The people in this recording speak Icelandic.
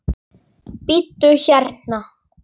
Bíddu hérna.